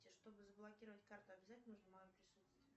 чтобы заблокировать карту обязательно нужно мое присутствие